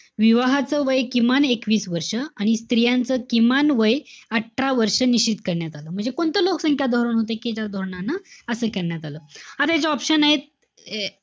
विवाहाचं वय किमान एकवीस वर्ष, आणि स्त्रियांचं किमान वय अठरा वर्ष, निश्चित करण्यात आलं. कोणतं लोकसंख्या धोरण होतं कि ज्या धोरणानं असं करण्यात आलं? आता याचे option आहेत, अं